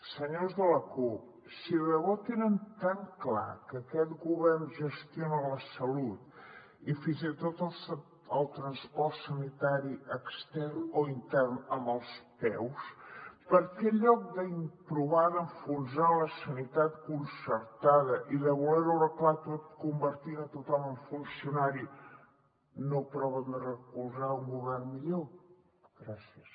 senyors de la cup si de debò tenen tan clar que aquest govern gestiona la salut i fins i tot el transport sanitari extern o intern amb els peus per què en lloc de provar d’enfonsar la sanitat concertada i de voler ho arreglar tot convertint tothom en funcionari no proven de recolzar un govern millor gràcies